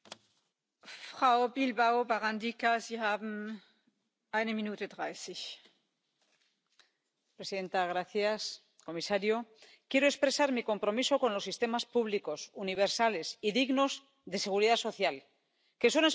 Señora presidenta, señor comisario, quiero expresar mi compromiso con los sistemas públicos, universales y dignos de seguridad social, que son expresiones de solidaridad intergeneracional.